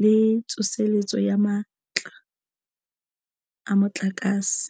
le tsoseletso ya matla a motlakase.